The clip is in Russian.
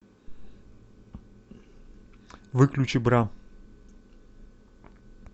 выключи бра